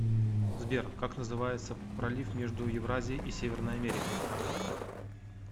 сбер как называется пролив между евразией и северной америкой